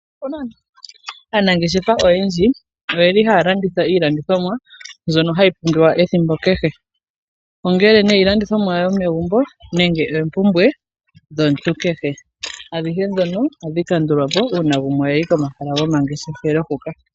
Aanageshefa oyendji oyeli haya landitha iilandithomwa mbyoka hayi pumbiwa ethimbo kehe ongele iilandithomwa yomegumbo nenge oompumbwe dhomuntu kehe adhihe dhoka ohadhi kandulwa po una gumwe ayi komahala gomangeshefelo huka.